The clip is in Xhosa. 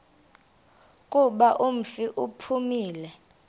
kuba umfi uphumile